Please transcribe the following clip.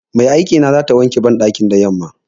Mai aikina zata wanke banɗakin da yamma.